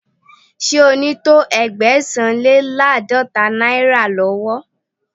Ṣé o ní to Ẹgbẹ̀sán-le-láàdọ́ta náírà lọ́wọ́?.